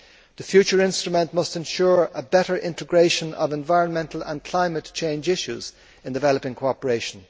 The future instrument must ensure better integration of environmental and climate change issues in developing cooperation.